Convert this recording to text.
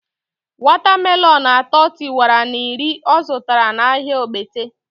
Wata melonu atọ tiwara na iri ọ zụtara na ahịa Ogbete